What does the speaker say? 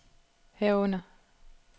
herunder